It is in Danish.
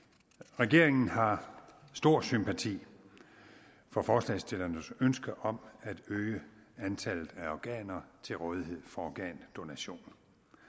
regeringen har stor sympati for forslagsstillernes ønske om at øge antallet af organer til rådighed for organdonation